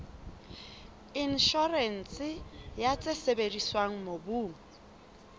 inshorense ya tse sebediswang mobung